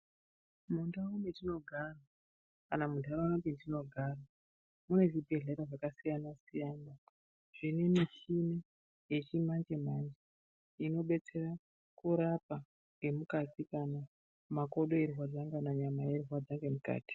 Mundau mwetinogara kana muntaraunda mwetinogara mune zvibhedhlera zvakasiyana siyana zvine michini yechimanje manje inodetsera kurapa ngemukati kana makodo eirwadza kana nyama yeirwadza ngemukati.